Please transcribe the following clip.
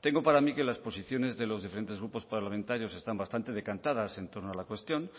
tengo para mí que las posiciones de los diferentes grupos parlamentarios están bastante decantadas en torno a la cuestión